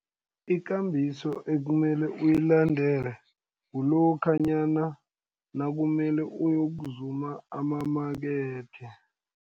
Ikambiso ekumele uyilandele, kulokhanyana nakumele uyokuzuma amamakethe,